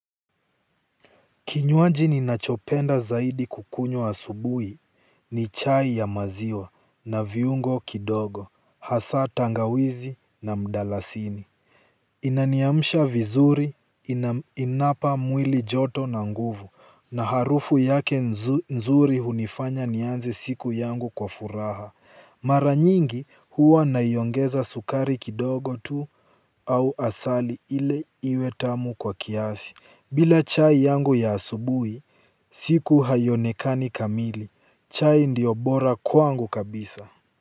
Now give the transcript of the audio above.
Kinywaji ninachopenda kukunywa zaidi asubuhi ni chai ya maziwa na viungo kidogo hasa tangawizi na mdalasini. Inaniamsha vizuri, inapa mwili joto na nguvu, na harufu yake nzuri hunifanya nianze siku yangu kwa furaha. Mara nyingi huwa naiongeza sukari kidogo tu au asali ili iwe tamu kwa kiasi. Bila chai yangu ya asubuhi, siku haionekani kamili. Chai ndiyo bora kwangu kabisa.